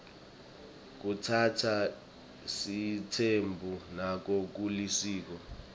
kutsatsa sitsembu nako kulisiko